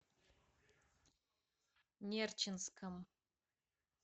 нерчинском